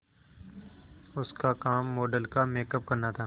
उसका काम मॉडल का मेकअप करना था